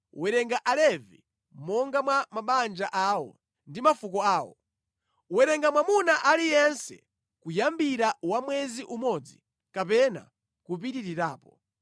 “Werenga Alevi monga mwa mabanja awo ndi mafuko awo. Werenga mwamuna aliyense kuyambira wa mwezi umodzi kapena kupitirirapo.”